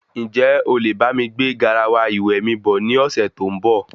Njẹ olè bámi gbé garawa ìwẹ̀ mi bọ̀ ní ọsẹ tó n bọ?